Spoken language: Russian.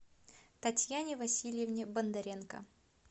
татьяне васильевне бондаренко